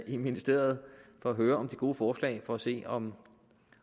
i ministeriet for at høre om de gode forslag og for at se om